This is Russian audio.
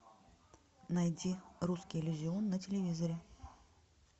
найди русский иллюзион на телевизоре